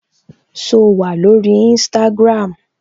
So wà lórí Instagram?